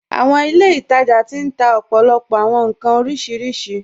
Àwọn ilẹ̀-itaja ti n tà òpó̩lópó̩ àwọn nkàn orísiríṣí.